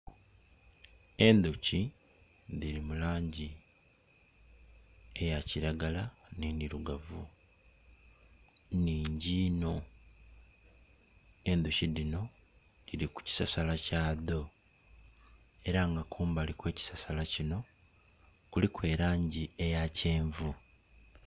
Endhoki dhiri mu langi eya kilagala ne ndhirugavu nnhingi iinno. Endhuki dhino dhiri ku kisasala kya dho era nga kumbali kwe kisasala kino kuliku elangi eya kyenvu